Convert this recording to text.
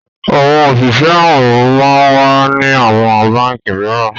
àwọn Oṣiṣẹ awin món wá ní àwọn bánkì míràn